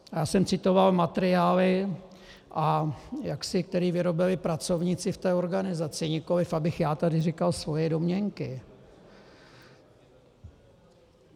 Já jsem citoval materiály, které vyrobili pracovníci v té organizaci, nikoliv abych tady já říkal svoje domněnky.